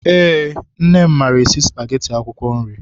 Eé, nne m maara esi spageti akwụkwọ nri.